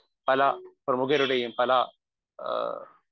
speaker 1 പല പ്രമുഖരുടെയും പല ഏഹ്